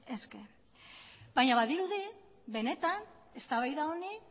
eske baina badirudi benetan eztabaida honi